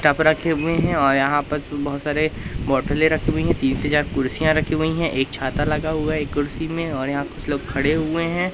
Cup रखे हुए हैं और यहां पर बहोत सारे बोटले रखी हुई है तीस हजार कुर्सियां रखी हुई हैं एक छाता लगा हुआ एक कुर्सी में और यहां कुछ लोग खड़े हुए हैं।